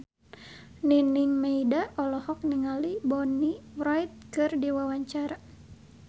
Nining Meida olohok ningali Bonnie Wright keur diwawancara